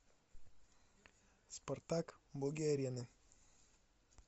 спартак боги арены